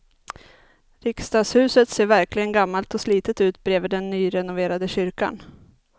Riksdagshuset ser verkligen gammalt och slitet ut bredvid den nyrenoverade kyrkan.